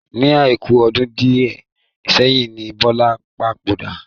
Ọjọ́ Àìkú ọdún di ẹ sẹ́yìn ni Bọlá papòdà